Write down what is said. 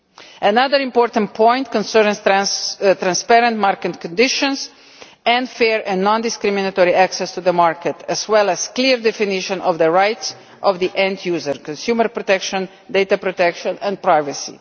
Another important point concerns transparent market conditions and fair and non discriminatory access to the market, as well as a clear definition of the rights of the end users consumer protection, data protection and privacy.